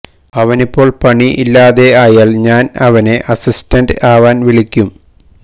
അവനിപ്പോൾ പണി ഇല്ലാതെ ആയാൽ ഞാൻ അവനെ അസിസ്റ്റന്റ് ആവാൻ വിളിക്കും